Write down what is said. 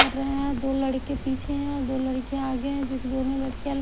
कर रहे हैं दो लड़के पीछे हैं दो लड़के आगे हैं जो कि दोनों लड़कियां--